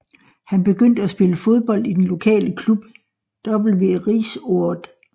Han begyndte at spille fodbold i den lokale klub VV Rijsoord